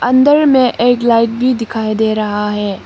अंदर में एक लाइट भी दिखाई दे रहा है।